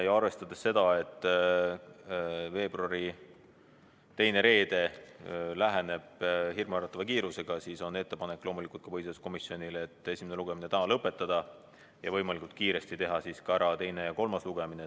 Ja arvestades seda, et veebruari teine reede läheneb hirmuäratava kiirusega, on põhiseaduskomisjonil loomulikult ettepanek esimene lugemine täna lõpetada ja võimalikult kiiresti teha ära ka teine ja kolmas lugemine.